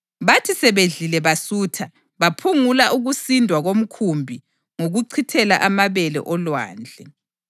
Bathi sebedlile basutha, baphungula ukusindwa komkhumbi ngokuchithela amabele olwandle.